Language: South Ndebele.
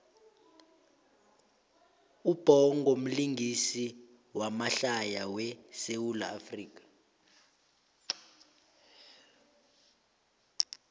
ubhongo mlingisi wamahlaya we sawula afrika